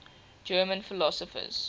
german philosophers